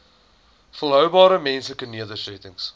volhoubare menslike nedersettings